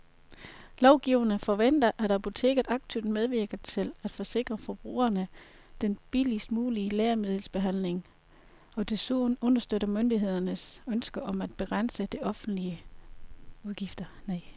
Lovgiverne forventer, at apoteket aktivt medvirker til at sikre forbrugerne den billigst mulige lægemiddelbehandling og desuden understøtter myndighedernes ønske om at begrænse de offentlige udgifter.